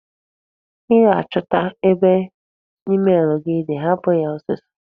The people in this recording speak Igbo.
Ọ ga-achọta ebe emel gị di, hapụ ya ọsịsọ!